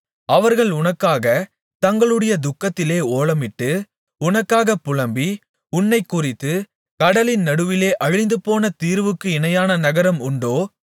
அவர்கள் உனக்காகத் தங்களுடைய துக்கத்திலே ஓலமிட்டு உனக்காக புலம்பி உன்னைக்குறித்து கடலின் நடுவிலே அழிந்துபோன தீருவுக்குச் இணையான நகரம் உண்டோ